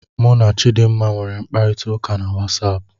Mụ na Chidmma nwere mkparita ụka na WatsAapụ